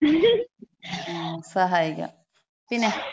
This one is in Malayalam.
മ്മ് സഹായിക്കാം. പിന്ന.